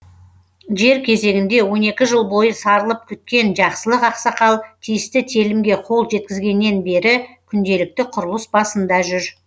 жер кезегінде он екі жыл бойы сарылып күткен жақсылық ақсақал тиісті телімге қол жеткізгеннен бері күнделікті құрылыс басында жүр